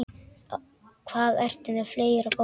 Hvað ertu með fleira, góða?